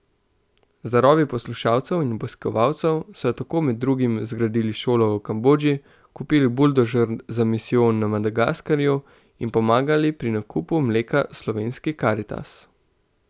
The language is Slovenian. Z darovi poslušalcev in obiskovalcev so tako med drugim zgradili šolo v Kambodži, kupili buldožer za misijon na Madagaskarju in pomagali pri nakupu mleka Slovenski Karitas.